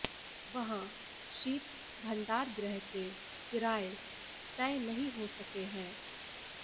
वहां शीत भंडारगृह के किराये तय नहीं हो सके हैं